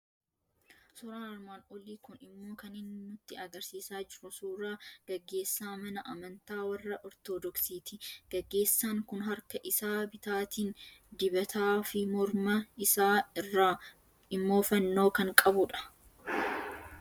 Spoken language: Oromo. Suuraan armaan olii kun immoo kan inni nutti argisiisaa jiru suuraa gaggeessaa mana Amantaa warra Ortodoksiiti. Gaggeessaan kun harka isaa bitaatiin dibataa fi morma isaa irraa immoo fannoo kan qabudha.